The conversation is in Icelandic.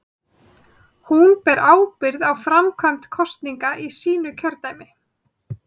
Hún ber ábyrgð á framkvæmd kosninga í sínu kjördæmi.